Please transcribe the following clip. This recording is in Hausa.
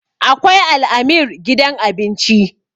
akwai al'amir gidan abinci